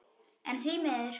En því miður.